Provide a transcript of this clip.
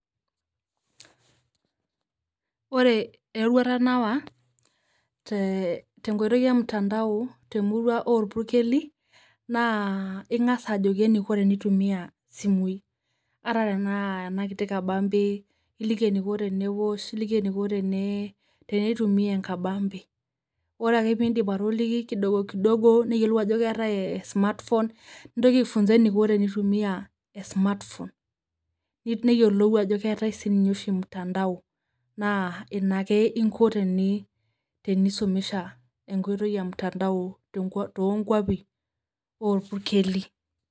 Ore eruata nawaa te nkoitoi e mtandao to murua e irpukeli naa ing'aas ajoki neikoo tenetumia simuii ata tana ana nkitii kabambe. Iliiki neiko teneosh iliiki neikoo tenetumia nkabambe ore ake pii idiim atolikii kidogo dogo naiyelouu ajo keetai esmartphone. Niintoki aifunsan neikoo tenetumia esmartphone. Neiyelou ajo keetai sii ninye emtandao naa ena ake iikoo tinisomeshaa enkotei emtandao to nkwaapi o irpukeli.